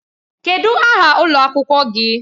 Kedu aha ụlọ akwụkwọ sekọndrị gị?